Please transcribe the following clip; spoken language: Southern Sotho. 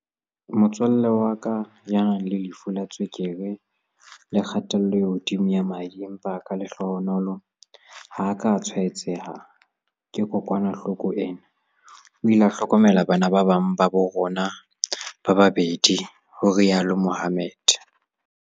"vtsale wa ka, ya nang le lefu la tswekere le kgatello e hodimo ya madi empa ka lehlohonolo ha a ka a tshwaetseha ke kokwanahloko ena, o ile a hlokomela bana ba bang ba rona ba babedi," ho rialo Mohammed.